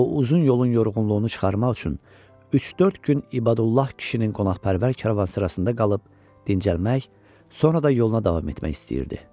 O uzun yolun yorğunluğunu çıxarmaq üçün üç-dörd gün İbadullah kişinin qonaqpərvər karvansarasında qalıb dincəlmək, sonra da yoluna davam etmək istəyirdi.